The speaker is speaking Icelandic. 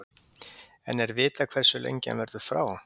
En er vitað hversu lengi hann verðu frá?